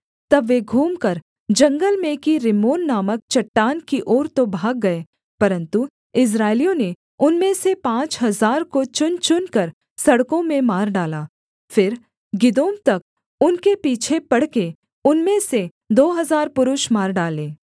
तब वे घूमकर जंगल में की रिम्मोन नामक चट्टान की ओर तो भाग गए परन्तु इस्राएलियों ने उनमें से पाँच हजार को चुनचुनकर सड़कों में मार डाला फिर गिदोम तक उनके पीछे पड़के उनमें से दो हजार पुरुष मार डाले